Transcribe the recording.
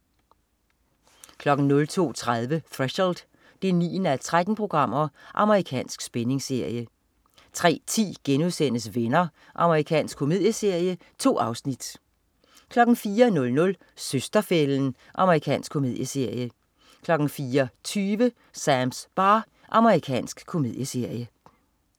02.30 Threshold 9:13. Amerikansk spændingsserie 03.10 Venner.* Amerikansk komedieserie. 2 afsnit 04.00 Søster-fælden. Amerikansk komedieserie 04.20 Sams bar. Amerikansk komedieserie